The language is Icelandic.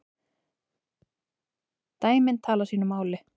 Dæmin tali sínu máli.